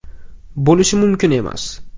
Bo‘lishi mumkin emas.